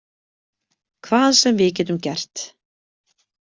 Hvað sem við getum gert.